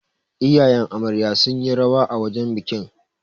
iyayen Amarya sun yi rawa a wajen bikin